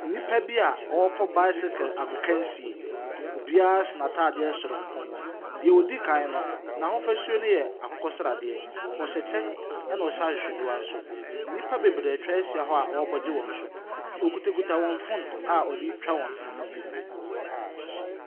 Nnipa bi ɔrekɔ bicycle agokansie. Obiara hyɛ n'ataadeɛ soronko. Deɛ odi kan no, n'ahofasuo no yɛ akokɔsradeɛ. Ɔhyɛ kyɛ. Ɛna ɔhyɛ ahwehwɛniwa nso. Nnipa bebree atwa ahyia hɔ a ɔrebɔ gye wɔn so. Wɔkitakita phone a ɔde retwa wɔn mfonyini.